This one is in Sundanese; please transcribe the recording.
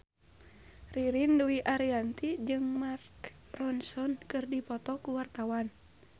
Ririn Dwi Ariyanti jeung Mark Ronson keur dipoto ku wartawan